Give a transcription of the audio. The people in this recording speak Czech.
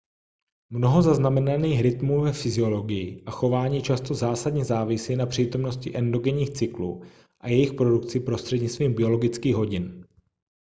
mnoho zaznamenaných rytmů ve fyziologii a chování často zásadně závisí na přítomnosti endogenních cyklů a jejich produkci prostřednictvím biologických hodin